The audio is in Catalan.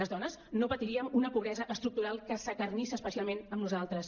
les dones no patiríem una pobresa estructural que s’acarnissa especialment amb nosaltres